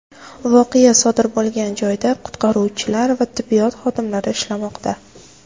Voqea sodir bo‘lgan joyda qutqaruvchilar va tibbiyot xodimlari ishlamoqda.